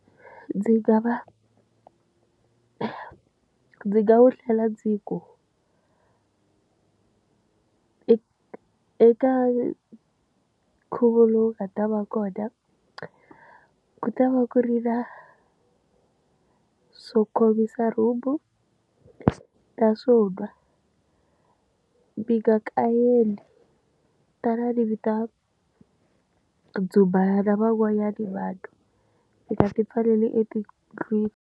Ndzi nga va ndzi nga wu tlhela ndzi ku eka eka nkhuvo lowu nga ta va kona ku ta va ku ri na swo khomisa rumbhu na swo nwa mi nga kayeli tanani mi ta dzumba na van'wanyana vanhu mi nga ti pfaleli etindlwini.